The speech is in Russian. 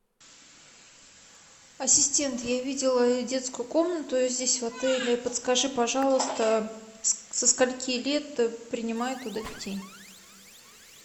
ассистент я видела детскую комнату здесь в отеле подскажи пожалуйста со скольки лет принимают туда детей